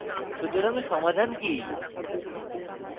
সুতরাং সমাধান কি